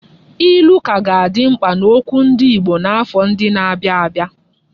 Ilu ka ga-adị mkpa n'okwu ndị Igbo n'afọ ndị na-abịa abịa.